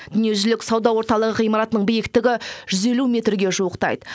дүниежүзілік сауда орталығы ғимаратының биіктігі жүз елу метрге жуықтайды